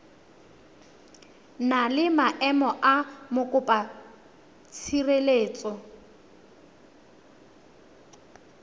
na le maemo a mokopatshireletso